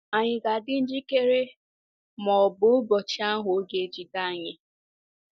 Ànyị ga-adị njikere ma ọ bụ ụbọchị ahụ ọ̀ ga-ejide anyị?